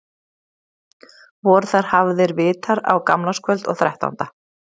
Voru þar hafðir vitar á gamlárskvöld og þrettánda.